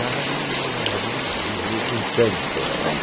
Larariraiarorirorirorirori, um tango. Torrrom